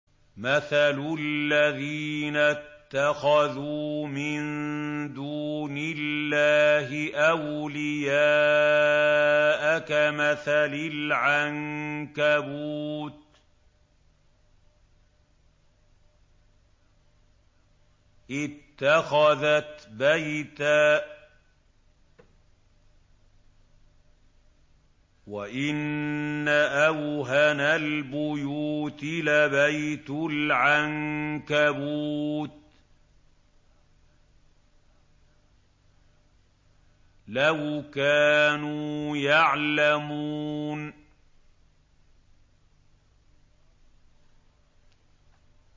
مَثَلُ الَّذِينَ اتَّخَذُوا مِن دُونِ اللَّهِ أَوْلِيَاءَ كَمَثَلِ الْعَنكَبُوتِ اتَّخَذَتْ بَيْتًا ۖ وَإِنَّ أَوْهَنَ الْبُيُوتِ لَبَيْتُ الْعَنكَبُوتِ ۖ لَوْ كَانُوا يَعْلَمُونَ